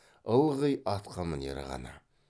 ылғи атқамінері ғана